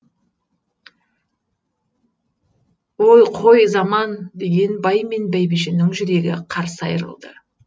ой қой заман деген бай мен бәйбішенің жүрегі қарс айрылды